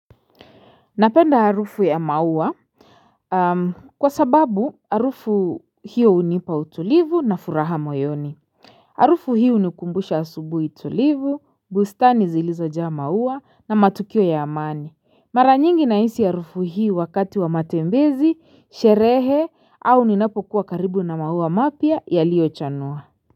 Napenda harufu ya maua kwa sababu harufu hiyo hunipa utulivu na furaha moyoni. Harufu hiyo hunikumbusha asubuhi tulivu, bustani zilizojaa maua na matukio ya amani. Mara nyingi nahisi harufu hii wakati wa matembezi, sherehe au ninapokuwa karibu na maua mapya yaliochanua.